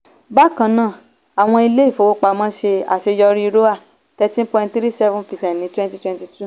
bákan náà àwọn ilé-ìfowópamọ́ ṣe àṣeyọrí roae thirteen point three seven percent ní cs] twenty twenty-two.